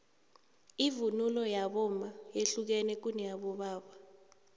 ivunulo yabomma yehlukene kuneyabobaba